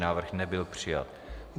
Návrh nebyl přijat.